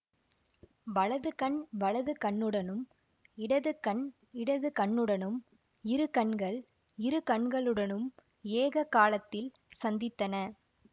வலது கண் வலது கண்ணுடனும் இடது கண் இடது கண்ணுடனும் இரு கண்கள் இரு கண்களுடனும் ஏக காலத்தில் சந்தித்தன